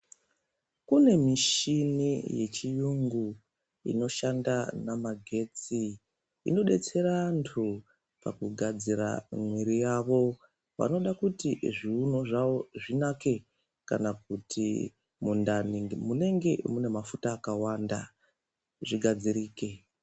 Kune mishini yechiyungu inoshanda namagetsi, inodetsera antu pakugadzira mwiri yavo vanoda kuti zviunu zvavo zvinake kana kana kuti mundani munenge mune mafuta akawanda zvigadzirike.